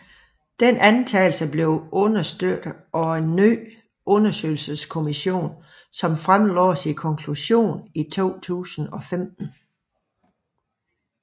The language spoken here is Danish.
Denne antagelse blev understøttet af en ny undersøgelseskommision som fremlagde sin konklusion i 2015